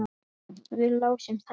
Við lásum þær.